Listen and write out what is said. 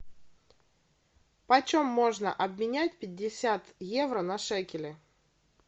почем можно обменять пятьдесят евро на шекели